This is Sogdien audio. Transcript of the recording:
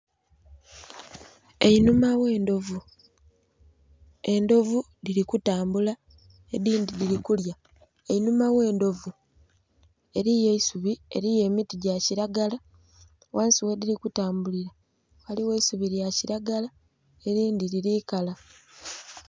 Enhuma gh'endhovu, endhovu dhili kutambula edhindhi dhili kulya. Einhuma gh'endhovu eliyo eisubi eliyo emiti gya kilagala, ghansi ghedhili kutambulira ghaligho eisubi lya kilagala elindhi lili kala.